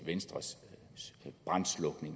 venstres